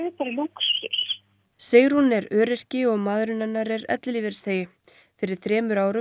í lúxus Sigrún er öryrki og maðurinn hennar er ellilífeyrisþegi fyrir þremur árum